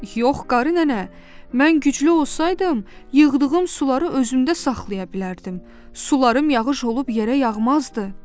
Yox qarı nənə, mən güclü olsaydım, yığdığım suları özümdə saxlaya bilərdim, sularım yağış olub yerə yağmazdı.